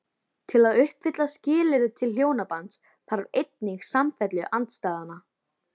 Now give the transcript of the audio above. Til að uppfylla skilyrði til hjónabands þarf einnig samfellu andstæðnanna.